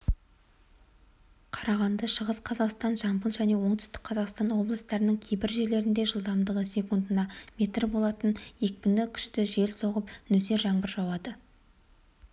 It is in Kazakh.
қарағанды шығыс қазақстан жамбыл және оңтүстік қазақстан облыстарының кейбір жерлерінде жылдамдығы секундына метр болатын екпіні күшті жел соғып нөсер жаңбыр жауады